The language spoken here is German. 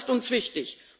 Das ist uns wichtig.